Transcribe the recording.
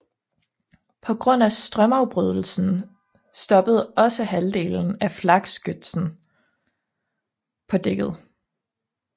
På grund af strømafbrydelsen stoppede også halvdelen af flak skytset på dækket